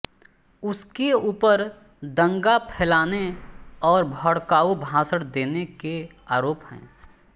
उसके ऊपर दंगा फैलाने और भडकाऊ भाषण देने के आरोप हैं